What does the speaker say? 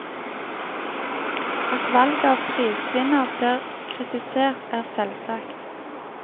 At valget av prisvinner blir kritisert, er selvsagt.